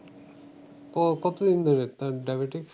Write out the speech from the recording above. ক~ কতদিন ধরে আহ diabetes?